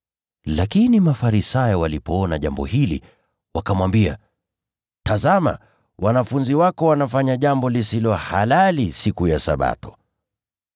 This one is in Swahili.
Lakini Mafarisayo walipoona jambo hili, wakamwambia, “Tazama! Wanafunzi wako wanafanya jambo lisilo halali kufanywa siku ya Sabato.”